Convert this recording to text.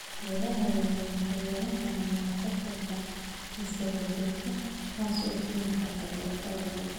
Beeraha waaweyni waxay yeelan karaan monocultures isdaba jooga, taasoo keenta xaalufka ciidda.